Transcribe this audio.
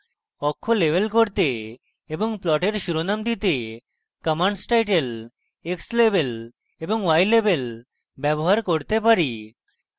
অক্ষ labels করতে এবং প্লটের শিরোনাম দিতে আমরা commands টাইটেল labels এবং labels ব্যবহার করতে পারি